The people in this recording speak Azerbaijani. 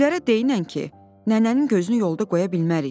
Gülərə deynən ki, nənənin gözünü yolda qoya bilmərik.